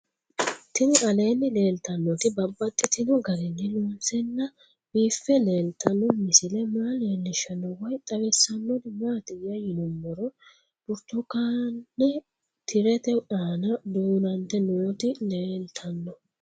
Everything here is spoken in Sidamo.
Tinni aleenni leelittannotti babaxxittinno garinni loonseenna biiffe leelittanno misile maa leelishshanno woy xawisannori maattiya yinummoro burittukkaanne tirette aanna duunante nootti leelittanno